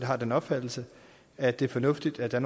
har den opfattelse at det er fornuftigt at der